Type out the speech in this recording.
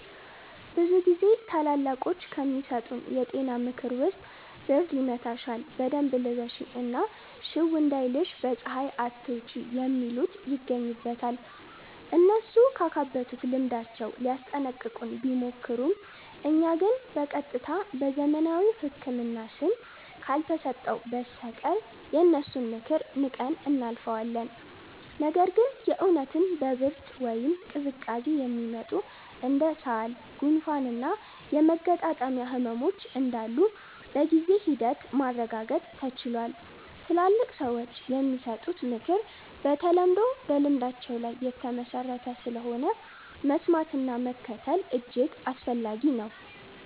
ብዙ ጊዜ ታላላቆች ከሚሰጡን የጤና ምክር ውስጥ ብርድ ይመታሻል በደንብ ልበሺ እና ሽው እንዳይልሽ በ ፀሃይ አትውጪ የሚሉት ይገኙበታል። እነሱ ካካበቱት ልምዳቸው ሊያስጠነቅቁን ቢሞክሩም እኛ ግን በ ቀጥታ በዘመናዊው ህክምና ስም ካልተሰጠው በስተቀር የነሱን ምክር ንቀን እናልፈዋለን። ነገር ግን የ እውነትም በ ብርድ ወይም ቅዝቃዜ የሚመጡ እንደ ሳል፣ ጉንፋን እና የመገጣጠሚያ ህመሞች እንዳሉ በጊዜ ሂደት ማረጋገጥ ተችሏል። ትላልቅ ሰዎች የሚሰጡት ምክር በተለምዶ በልምዳቸው ላይ የተመሠረተ ስለሆነ፣ መስማትና መከተል እጅግ አስፈላጊ ነው።